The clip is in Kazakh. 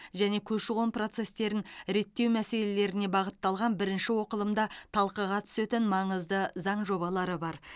және көші қон процестерін реттеу мәселелеріне бағытталған бірінші оқылымда талқыға түсетін маңызды заң жобалары бар